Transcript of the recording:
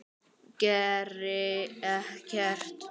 Geri ekkert.